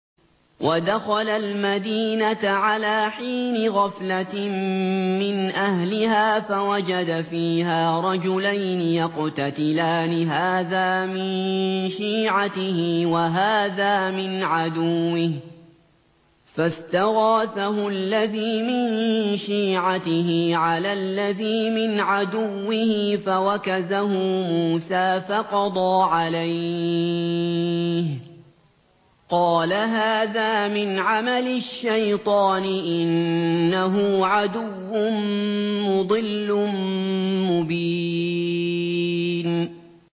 وَدَخَلَ الْمَدِينَةَ عَلَىٰ حِينِ غَفْلَةٍ مِّنْ أَهْلِهَا فَوَجَدَ فِيهَا رَجُلَيْنِ يَقْتَتِلَانِ هَٰذَا مِن شِيعَتِهِ وَهَٰذَا مِنْ عَدُوِّهِ ۖ فَاسْتَغَاثَهُ الَّذِي مِن شِيعَتِهِ عَلَى الَّذِي مِنْ عَدُوِّهِ فَوَكَزَهُ مُوسَىٰ فَقَضَىٰ عَلَيْهِ ۖ قَالَ هَٰذَا مِنْ عَمَلِ الشَّيْطَانِ ۖ إِنَّهُ عَدُوٌّ مُّضِلٌّ مُّبِينٌ